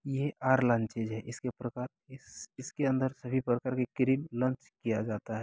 ये are launches है| इसके प्रकार इसके अंदर सभी प्रकार की क्रीम लांच किया जाता है।